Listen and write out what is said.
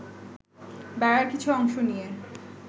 বেড়ার কিছু অংশ নিয়ে